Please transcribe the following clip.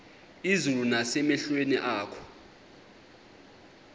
izulu nasemehlweni akho